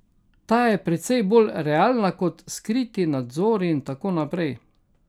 Ta je precej bolj realna kot skriti nadzori in tako naprej.